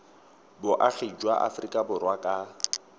boagi jwa aforika borwa ka